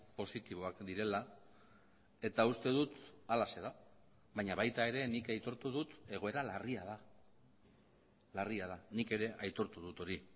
positiboak direla eta uste dut halaxe da baina baita ere nik aitortu dut egoera larria da larria da nik ere aitortu dut hori